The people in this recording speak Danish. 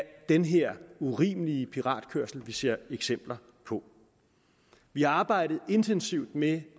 den her urimelige piratkørsel vi ser eksempler på vi har arbejdet intensivt med